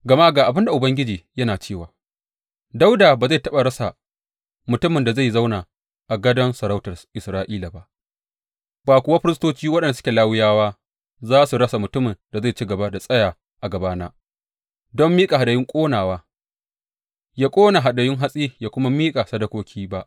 Gama ga abin da Ubangiji yana cewa, Dawuda ba zai taɓa rasa mutumin da zai zauna a gadon sarautar Isra’ila ba, ba kuwa firistoci waɗanda suke Lawiyawa za su rasa mutumin da zai ci gaba da tsaya a gabana don miƙa hadayun ƙonawa, ya ƙona hadayun hatsi ya kuma miƙa sadakoki ba.’